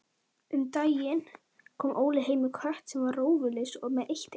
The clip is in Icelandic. Rafnkell, hvenær kemur leið númer fjörutíu?